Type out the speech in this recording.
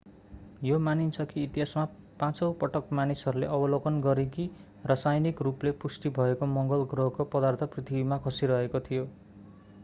यो मानिन्छ कि इतिहासमा पाँचौँ पटक मानिसहरूले अवलोकन गरे कि रासायनिक रूपले पुष्टि भएको मङ्गल ग्रहको पदार्थ पृथ्वीमा खसिरहेको थियो